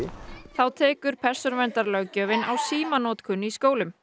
þá tekur persónuverndarlöggjöfin á símanotkun í skólum